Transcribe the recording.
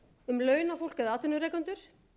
um launafólk eða atvinnurekendur